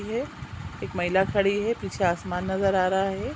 हैं एक महिला खड़ी हैँ पीछे आसमान नज़र आ रहा हैँ।